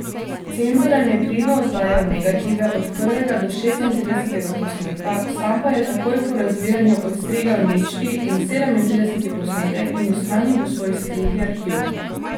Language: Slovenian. Cenzorjem je pridno oddajal negative od prvega do šestintridesetega posnetka, sam pa je takoj po razvijanju odstrigel ničti in sedemintrideseti posnetek in ju shranil v svoj skriti arhiv.